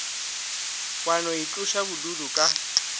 wa no itloša bodutu ka